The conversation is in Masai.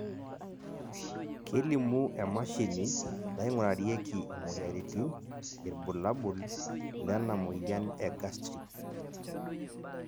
kelimu emashini naingurarieki imoyiaritin irbulabol lena moyian e Gastric